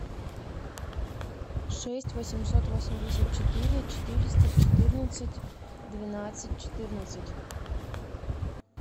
шесть восемьсот восемьдесят четыре четыреста четырнадцать двенадцать четырнадцать